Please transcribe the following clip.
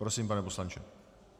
Prosím, pane poslanče.